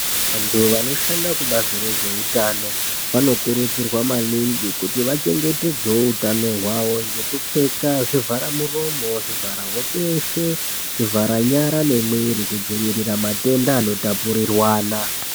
Vantu vanoshanda kubazi rezveutano vanokurudzirwa maningi kuti vachengetedzewo hutano hwavo ngekupfeka zvivhara muromo zvivhara hope yeshe zvivhara nyara nemwiri kudzivirira matenda anotapudzirwana.